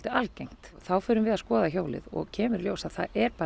algengt og þá förum við að skoða hjólið og kemur í ljós að það er